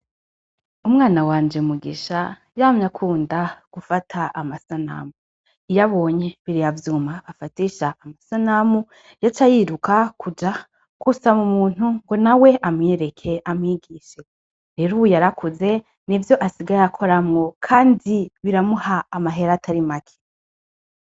Umwana wanje mugisha yamya akunda gufata amasanamu, iyo abonye bireyavyuma afatisha amasanamu ya ca ayiruka kuja kusa mu muntu ngo na we amwereke amwigishe rero yarakuze ni vyo asigaye akoramwo, kandi biramuha amahera atari make.